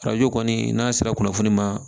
Arajo kɔni n'a sera kunnafoni ma